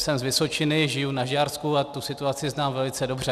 Jsem z Vysočiny, žiju na Žďársku a tu situaci znám velice dobře.